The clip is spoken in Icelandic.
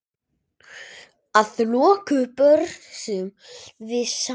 Að lokum borðum við saman.